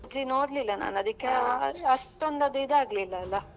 ಮುಂಚೆ ನೋಡ್ಲಿಲ್ಲ ನಾನ್ ಅದಕ್ಕೆ ಅದು ಅಷ್ಟೊಂದು ಅದು ಇದಾಗ್ಲಿಲ್ಲ ಅಲ.